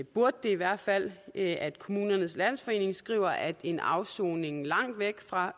burde det i hvert fald at kommunernes landsforening skriver at en afsoning langt væk fra